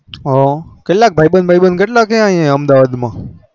હ કેટલા ભાઈ બંધ ભાઈ બંધ અહયા અમદાવાદ માં